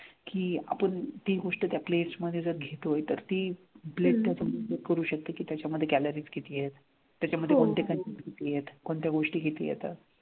कि आपण ती गोष्ट त्या plates मध्ये जर घेतोय तर ती plate आपण करू शकतो की त्याच्या मध्ये calories किती आहेत, त्याच्या मध्ये कोणते content किती आहेत, कोणत्या गोष्टी किती येतात,